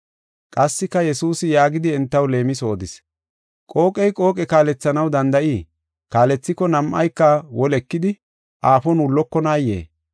Qassika Yesuusi yaagidi entaw leemiso odis; “Qooqey qooqe kaalethanaw danda7ii? Kaalethiko nam7ayka woli ekidi aafon wullokonayee?